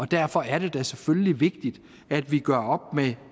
derfor er det da selvfølgelig vigtigt at vi gør op med